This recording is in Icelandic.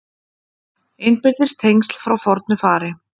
Innbyrðis tengsl frá fornu fari